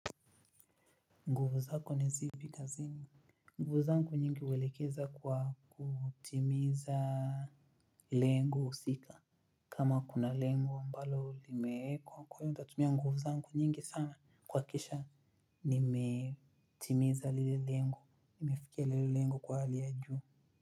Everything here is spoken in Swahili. Nguvu zako ni zipi kazini nguvu zangu nyingi huelekeza kwa kutimiza lengo husika kama kuna lengo ambalo limeekwa kwa hivo nitatumia nguvu zangu nyingi sana kuhakikisha nimetimiza lile lengo nimefikia lile lengo kwa hali ya juu.